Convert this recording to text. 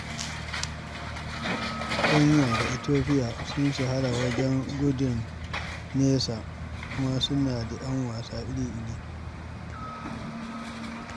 Kenya da Ethiopia sun shahara wajen gudun nesa, kuma suna ‘yan wasa iri iri